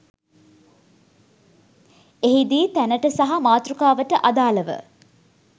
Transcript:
එහිදී තැනට සහ මාතෘකාවට අදාලව